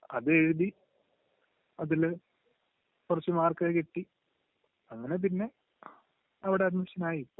അത് എഴുതി...അതില് കുറച്ചു മാർക്കൊക്കെ കിട്ടി, അങ്ങനെപിന്നെ അവിടെ അഡ്മിഷൻ ആയി ഇപ്പൊ.